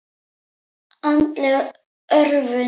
Andleg örvun.